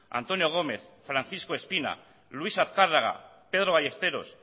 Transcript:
antonio gómez francisco espina luis azkarraga pedro ballesteros